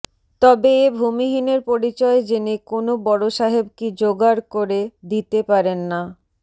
তবে এ ভূমিহীনের পরিচয় জেনে কোনো বড়সাহেব কি জোগাড় করে দিতে পারেন না